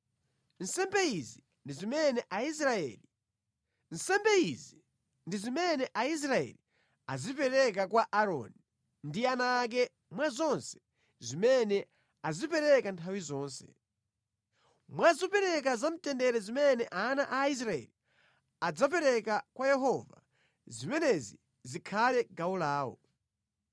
Nsembe izi ndi zimene Aisraeli azipereka kwa Aaroni ndi ana ake mwa zonse zimene azipereka nthawi zonse. Mwa zopereka za mtendere zimene ana a Aisraeli adzapereka kwa Yehova, zimenezi zikhale gawo lawo.